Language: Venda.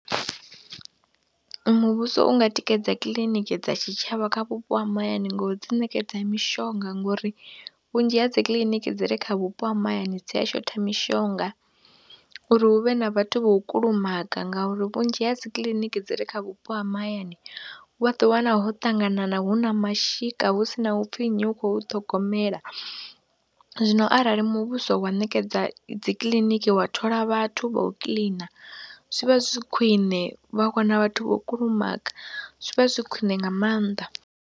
Muvhuso u nga tikedza kiḽiniki dza tshitshavha kha vhupo ha mahayani ngo dzi ṋekedza mishonga ngori vhunzhi ha dzi kiḽiniki dzi re kha vhupo ha mahayani dzi a shotha mishonga, uri hu vhe na vhathu vho kulumaga ngauri vhunzhi ha dzi kiliniki dzi re kha vhupo ha mahayani vha ḓo wana ho ṱanganana, hu na mashika hu si na u pfhi nnyi u khou hu ṱhogomela. Zwino arali muvhuso wa ṋekedza dzi kiḽiniki, wa thola vhathu vha u kiḽina zwi vha zwi khwine vha wana vhathu vho kulumaga, zwi vha zwi khwiṋe nga maanḓa.